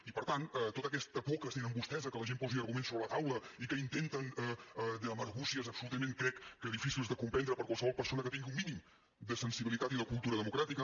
i per tant tota aquesta por que tenen vostès que la gent posi arguments sobre la taula i que intenten amb argúcies absolutament crec que difícils de comprendre per qualsevol persona que tingui un mínim de sensibilitat i de cultura democràtica